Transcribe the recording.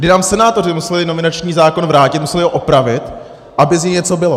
Kdy nám senátoři museli nominační zákon vrátit, museli ho opravit, aby z něj něco bylo.